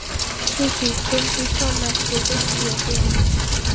Susie, hringdu í Tom eftir fimmtíu og fjórar mínútur.